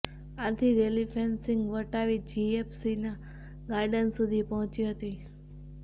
આથી rally fencing વટાવી જીએસપીસીના ગાર્ડન સુધી પહોંચી હતી